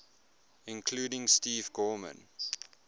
including steve gorman